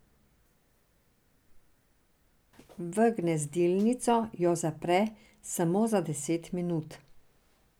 V gnezdilnico jo zapre samo za deset minut.